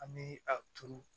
An bɛ a turu